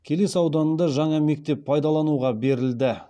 келес ауданында жаңа мектеп пайдалануға берілді